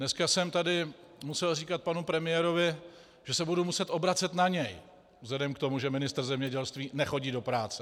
Dneska jsem tady musel říkat panu premiérovi, že se budu muset obracet na něj vzhledem k tomu, že ministr zemědělství nechodí do práce.